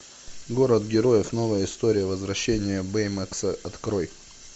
город героев новая история возвращение бэймакса открой